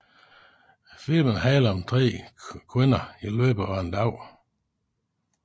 Filmen handler om tre kvinder i løbet af en dag